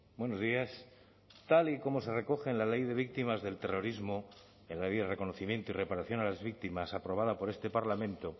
buenos días tal y como se recoge en la ley de víctimas del terrorismo en la ley de reconocimiento y reparación a las víctimas aprobada por este parlamento